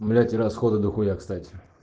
блять и расходы до хуя кстати